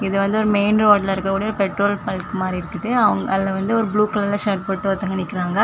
இது வந்து ஒரு மெயின் ரோட்டுல இருக்கக்கூடிய ஒரு பெட்ரோல் பங்க் மாறி இருக்குது அவ் அதுல வந்து ஒரு ப்ளூ கலர்ல ஷர்ட் போட்டு ஒருதங்க நிக்கறாங்க.